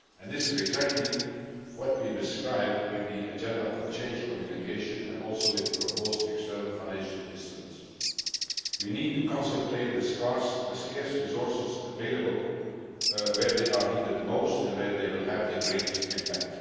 This is exactly what we describe in the Agenda for Change Communication and also with the proposed external financial instruments. We need to concentrate the scarce resources available where they are needed most and where they will have the greatest impact.